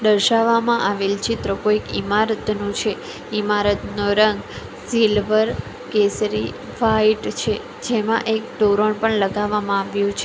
દર્શાવવામાં આવેલ ચિત્ર કોઈક ઇમારતનું છે ઇમારતનો રંગ સિલ્વર કેસરી વાઈટ છે જેમાં એક તોરણ પણ લગાવવામાં આવ્યું છે --